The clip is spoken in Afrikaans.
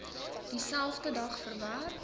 dieselfde dag verwerk